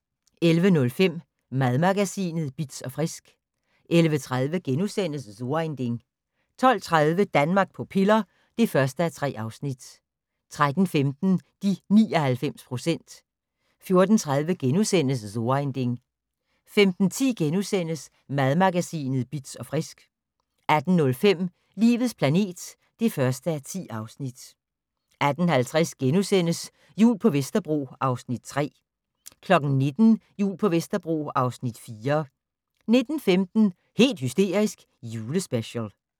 11:05: Madmagasinet Bitz & Frisk 11:30: So ein Ding * 12:30: Danmark på piller (1:3) 13:15: De 99 procent 14:30: So ein Ding * 15:10: Madmagasinet Bitz & Frisk * 18:05: Livets planet (1:10) 18:50: Jul på Vesterbro (Afs. 3)* 19:00: Jul på Vesterbro (Afs. 4) 19:15: Helt hysterisk - julespecial